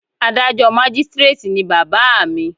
Adájọ́ Mágístíréètì ni bàbá à mi.